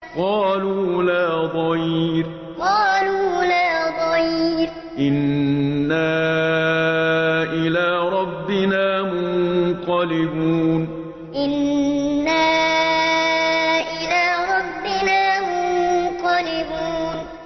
قَالُوا لَا ضَيْرَ ۖ إِنَّا إِلَىٰ رَبِّنَا مُنقَلِبُونَ قَالُوا لَا ضَيْرَ ۖ إِنَّا إِلَىٰ رَبِّنَا مُنقَلِبُونَ